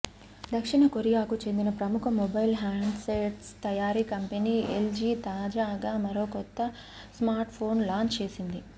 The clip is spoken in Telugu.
దక్షిణ కొరియాకు చెందిన ప్రముఖ మొబైల్ హ్యాండ్సెట్స్ తయారీ కంపెనీ ఎల్జీ తాజాగా మరో కొత్త స్మార్ట్ఫోన్ లాంచ్ చేసింది